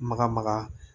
Maga maga